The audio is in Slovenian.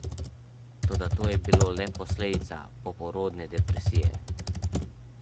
Toda to je bilo le posledica poporodne depresije.